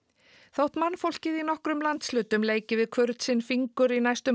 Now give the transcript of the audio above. þótt mannfólkið í nokkrum landshlutum leiki við sinn fingur í næstum